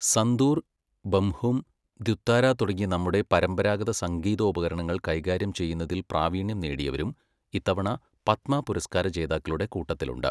സന്തൂർ, ബംഹും, ദ്വിതാര തുടങ്ങിയ നമ്മുടെ പരമ്പരാഗത സംഗീതോപകരണങ്ങൾ കൈകാര്യം ചെയ്യുന്നതിൽ പ്രാവീണ്യം നേടിയവരും ഇത്തവണ പത്മ പുരസ്കാര ജേതാക്കളുടെ കൂട്ടത്തിലുണ്ട്.